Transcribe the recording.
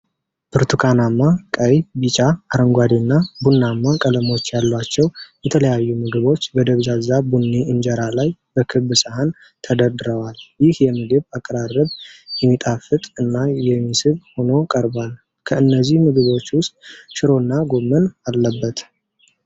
ብርቱካናማ፣ ቀይ፣ ቢጫ፣ አረንጓዴ እና ቡናማ ቀለሞች ያሏቸው የተለያዩ ምግቦች በደብዛዛ ቡኒ እንጀራ ላይ በክብ ሳህን ተደርድረዋል። ይህ የምግብ አቀራረብ የሚጣፍጥ እና የሚስብ ሆኖ ቀርቧል። ከእነዚህ ምግቦች ውስጥ ሽሮ እና ጎመን አለበት፡፡